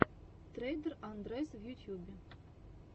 трейдер андрэс в ютьюбе